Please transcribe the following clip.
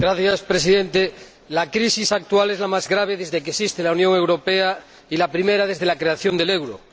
Señor Presidente, la crisis actual es la más grave desde que existe la Unión Europea y la primera desde la creación del euro.